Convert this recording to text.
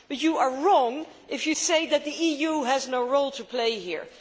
But you are wrong if you say that the EU has no role to play here.